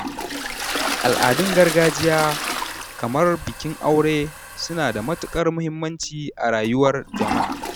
Al'adun gargajiya, kamar bikin aure, suna da matuƙar muhimmanci a rayuwar jama’a.